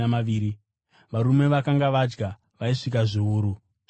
Varume vakanga vadya vaisvika zviuru zvishanu.